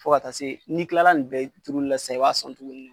Fo ka taa se n'i kilala nin bɛɛ turuli la sisan b'a sɔn tuguni de.